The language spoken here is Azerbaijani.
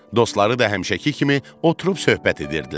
Dostları da həmişəki kimi oturub söhbət edirdilər.